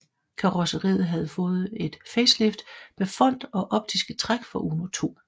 Karrosseriet havde fået et facelift med front og optiske træk fra Uno II